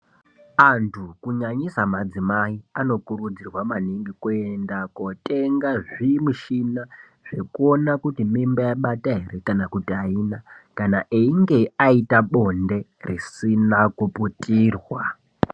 Anhu kunyanyisa madzimai anokurudzirwa maningi kuenda kunotenga zvimushina zvekuona kuti mimba yabata ere kana kuti aina kana einge aita bonde risina kuputirwa.